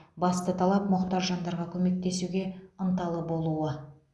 басты талап мұқтаж жандарға көмектесуге ынталы болуы